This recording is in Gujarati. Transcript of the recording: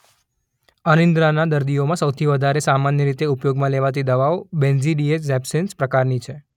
અનિદ્રાના દર્દીઓમાં સૌથી વધારે સામાન્ય રીતે ઉપયોગમાં લેવાતી દવાઓ બેન્ઝોડિએઝેપિન્સ પ્રકારની છે.